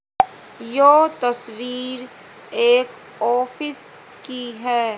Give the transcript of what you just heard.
यो तस्वीर एक ऑफिस की है।